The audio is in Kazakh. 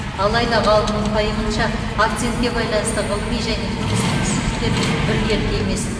алайда ғалымның пайымынша акцентке байланысты ғылыми және тұрмыстық түсініктер біркелкі емес